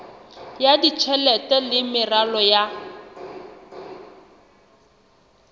ya tjhelete le meralo ya